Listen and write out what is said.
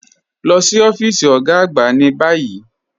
Lọ sí ọfiísì ogá àgbà ni bayí.